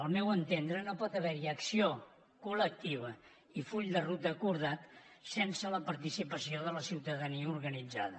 al meu entendre no pot haver hi acció col·lectiva i full de ruta acordat sense la participació de la ciutadania organitzada